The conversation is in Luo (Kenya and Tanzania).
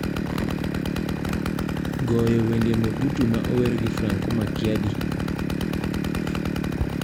goyo wende mobutu ma ower gi franco makiadi